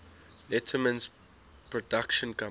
letterman's production company